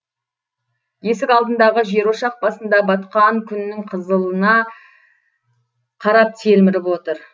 есік алдындағы жерошақ басында батқан күннің қызылына қарап телміріп отыр